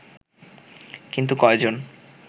কিন্তু কয়জন